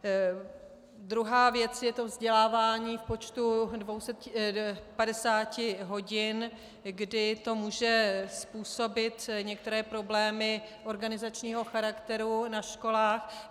Druhá věc je to vzdělávání v počtu 250 hodin, kdy to může způsobit některé problémy organizačního charakteru na školách.